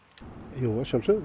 jú að sjálfsögðu